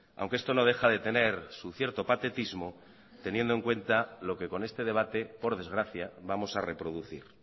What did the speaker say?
aunque esto no deja de tener su cierto patetismo teniendo en cuenta lo que con este debate por desgracia vamos a reproducir